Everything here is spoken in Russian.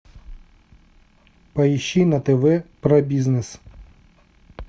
поищи на тв про бизнес